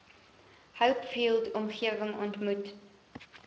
hopefield omgewing ontmoet